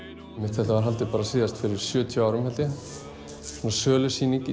þetta var haldið bara síðast fyrir sjötíu árum held ég svona sölusýning í